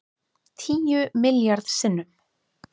Tíu milljarð sinnum